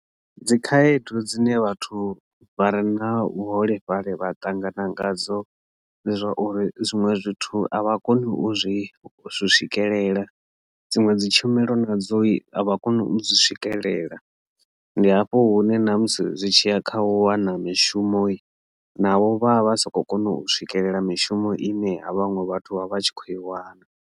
Dzikhaedu dzine vhathu vha re na vhuholefhali vha ṱangana nadzo dzi zwauri zwinwe zwithu a vha koni u zwi swikelela dziṅwe dzi tshumelo na dzo so vha kone u zwi swikelela ndi hafho hune na musi zwi tshi ḓa kha u wana mishumo navho vha vha si khou kona u swikelela mishumo ine ha vhaṅwe vhathu vha vha tshi kho i wana.